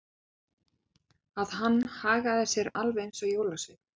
Að hann hagaði sér alveg eins og jólasveinn.